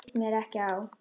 Það líst mér ekki á.